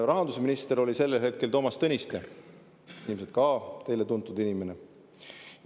Rahandusminister oli sel hetkel Toomas Tõniste, ilmselt ka teile tuntud inimene.